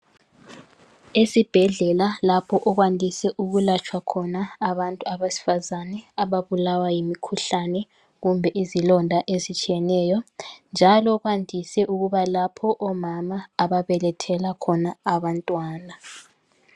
Isibhedlela lapho okwandise ukulatshwa khona abantu besifazane abandise ukulatshwa ababulawa yimikhuhlane kumbe izilonda ezitshiyeneyo njalo kwandise ukuba lapho omama ababelethela khona abantwana.